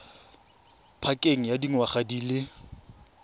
pakeng ya dingwaga di le